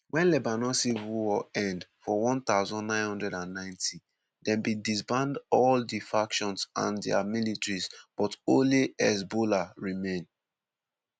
wen lebanon civil war end for 1990 dem bin disband all di factions and dia militias but only hezbollah remain.